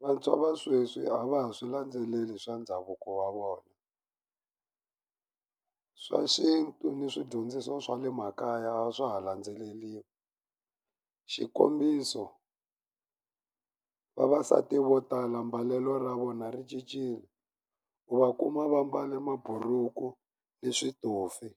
Vantshwa va sweswi a va ha swi landzeleli swa ndhavuko wa vona swa xintu na swidyondziso swa le makaya a swa ha landzeleliwi xikombiso vavasati vo tala mbalelo ra vona ri cincile u va kuma va mbale maburuku ni switofi